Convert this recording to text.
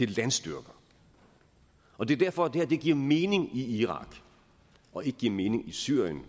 landstyrker og det er derfor at det her giver mening i irak og ikke giver mening i syrien